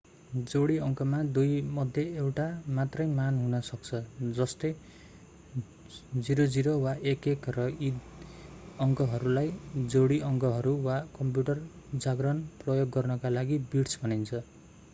जोडी अङ्कमा दुईमध्ये एउटा मात्रै मान हुन सक्दछ जस्तै 00 वा 11 र यी अङ्कहरूलाई जोडी अङ्कहरू वा कम्प्युटर जार्गन प्रयोग गर्नका लागि बिट्स भनिन्छ